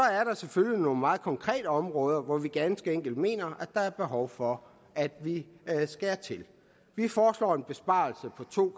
selvfølgelig nogle meget konkrete områder hvor vi ganske enkelt mener at der er behov for at vi skærer til vi foreslår en besparelse på to